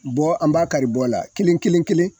Bɔ an b'a kari bɔ la kelen-kelen-kelen